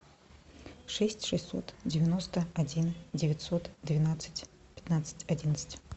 шесть шестьсот девяносто один девятьсот двенадцать пятнадцать одиннадцать